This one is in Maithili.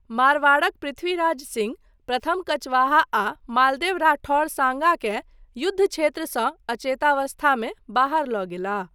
मारवाड़क पृथ्वीराज सिंह प्रथम कचवाहा आ मालदेव राठौर साँगा केँ युद्धक्षेत्रसँ अचेतावस्थामे बाहर लऽ गेलाह।